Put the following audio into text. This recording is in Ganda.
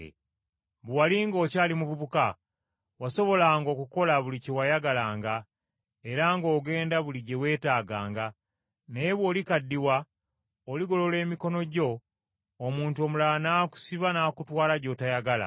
Bwe wali ng’okyali muvubuka wasobolanga okukola buli kye wayagalanga era ng’ogenda buli gye weetaaganga naye bw’olikaddiwa oligolola emikono gyo, omuntu omulala n’akusiba n’akutwala gy’otoyagala.”